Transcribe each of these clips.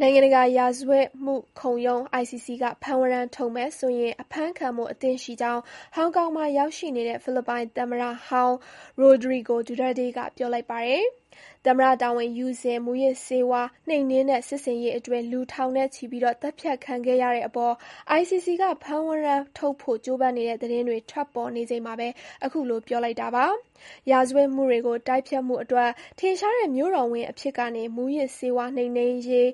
နိုင်ငံတကာ ရာဇဝတ်မှုခုံရုံး (ICC) ကဖမ်းဝရမ်းထုတ်မယ်ဆိုရင် အဖမ်းခံဖို့ အသင့်ရှိကြောင်း ဟောင်ကောင်မှာရောက်နေတဲ့ ဖိလစ်ပိုင်သမ္မတဟောင်း Rodrigo Duterte ကပြောလိုက်ပါတယ်။ သမ္မတတာဝန်ယူစဉ် မူးယစ်ဆေးဝါး နှိမ်နင်းတဲ့စစ်ဆင်ရေးအတွင်း လူထောင်နဲ့ချီ သတ်ဖြတ်ခံခဲ့ရတဲ့ အပေါ် ICC က ဖမ်းဝရမ်းထုတ်ဖို့ ကြိုးပမ်းနေတဲ့သတင်းတွေ ထွက်ပေါ်နေချိန်မှာ အခုလိုပြောလိုက်တာပါ။ ရာဇဝတ်မှုတွေတိုက်ဖျက်မှုအတွက်ထင်ရှားတဲ့ မြို့တော်ဝန်အဖြစ်ကနေ မူးယစ်ဆေးဝါး နှိမ်နင်းရေး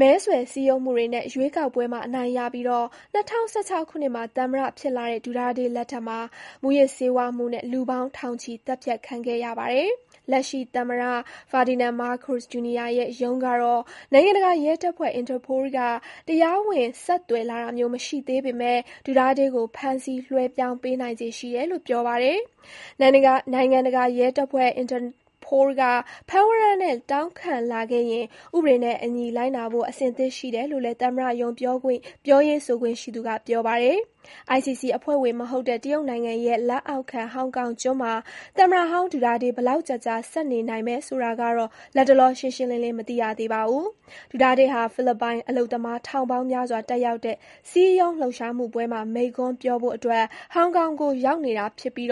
မဲဆွယ်စည်းရုံးမှုတွေနဲ့ ရွေးကောက်ပွဲမှာအနိုင်ရပြီး ၂၀၁၆ ခုနှစ်မှာ သမ္မတဖြစ်လာတဲ့ Duterte လက်ထက်မှာ မူးယစ်ဆေးဝါးမှုနဲ့ လူပေါင်းထောင်ချီ သတ်ဖြတ်ခံခဲ့ရပါတယ်။ လက်ရှိသမ္မတ Ferdinand Marcos Jr ရဲ့ ရုံးကတော့ နိုင်ငံတကာရဲတပ်ဖွဲ့ Interpol က တရားဝင် ဆက်သွယ်လာတာ မျိုး မရှိသေးပေမဲ့ Duterte ကို ဖမ်းဆီးလွှဲပြောင်းပေးနိုင်ခြေရှိတယ်လို့ ပြောပါတယ်။ နိုင်ငံတကာရဲတပ်ဖွဲ့ Interpol က ဖမ်းဝရမ်းနဲ့ တောင်းခံလာခဲ့ရင် ဥပဒေနဲ့အညီလိုက်နာဖို့ အဆင်သင့် ရှိတယ်လို့လည်း သမ္မတရုံး ပြောရေးဆိုခွင့်ရှိသူ Claire Castro ကပြောပါတယ်။ ICC အဖွဲ့ဝင်မဟုတ်တဲ့ တရုတ်နိုင်ငံရဲ့ လက်အောက်ခံဟောင်ကောင်ကျွန်းမှာ သမ္မတဟောင်း Duterte ဘယ်လောက်ကြာကြာ ဆက်နေနိုင်မယ်ဆိုတာကတော့ လတ်တလော ရှင်းရှင်းလင်းလင်း မသိရသေးပါဘူး။ Duterte ဟာ ဖိလစ်ပိုင် အလုပ်သမား ထောင်ပေါင်းများစွာတက်ရောက်တဲ့ စည်းရုံး လှုပ်ရှားမှုပွဲမှာ မိန့်ခွန်းပြောဖို့ ဟောင်ကောင်ကို ရောက်နေပြီး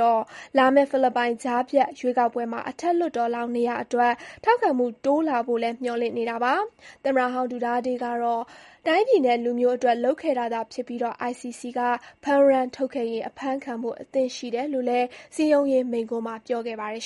လာမယ့် ဖိလစ်ပိုင်ကြားဖြတ်ရွေးကောက်ပွဲမှာ အထက်လွှတ်တော် အမတ်လောင်းနေရာတွေအတွက် ထောက်ခံမှုတိုးလာဖို့လည်း မျှော်လင့်နေတာပါ။ သမ္မတဟောင်း Duterte ကတော့ တိုင်းပြည်နဲ့ လူမျိုးအတွက် လုပ်ခဲ့တာသာဖြစ်ပြီး ICC က ဖမ်းဝရမ်းထုတ်ခဲ့ရင် အဖမ်းခံဖို့အသင့်ရှိတယ်လို့လည်း စည်းရုံးရေးမိန့်ခွန်းမှာ ပြောခဲ့ပါတယ်